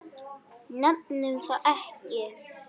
Nefnum það ekki.